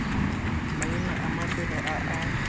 maina a mafelo a a